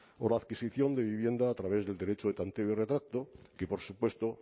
o la adquisición de vivienda a través del derecho de tanteo y retracto que por supuesto